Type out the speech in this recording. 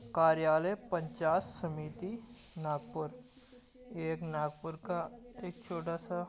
कार्यालय पंचायत समिति नागपुर ये एक नागपुर का एक छोटा सा--